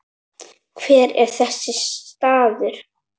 Hver er þessi staður?